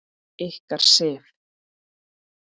Ykkar, Sif.